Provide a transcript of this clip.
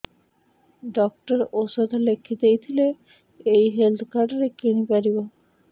doctor ଔଷଧ ଲେଖିଦେଇଥିଲେ ଏଇ ହେଲ୍ଥ କାର୍ଡ ରେ କିଣିପାରିବି